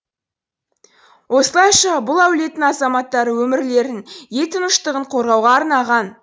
осылайша бұл әулеттің азаматтары өмірлерін ел тыныштығын қорғауға арнаған